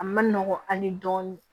A ma nɔgɔn an ye dɔɔnin